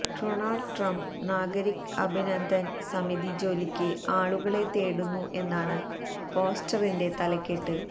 Donald Trump Nagrik Abhinandan Samiti ജോലിക്ക് ആളുകളെ തേടുന്നു എന്നാണ് പോസ്റ്ററിന്റെ തലക്കെട്ട്